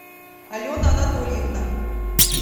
алена анатольевна